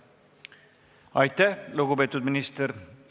Aitäh, lugupeetud minister!